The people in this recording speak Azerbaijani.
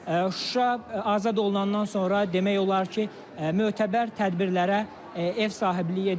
Şuşa azad olunandan sonra demək olar ki, mötəbər tədbirlərə ev sahibliyi edir.